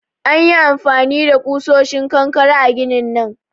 An yi amfani da kusoshin kankare a ginin nan